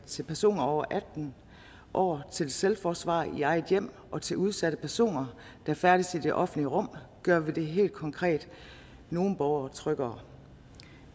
til personer over atten år til selvforsvar i eget hjem og til udsatte personer der færdes i det offentlige rum gør vi helt konkret nogle borgere tryggere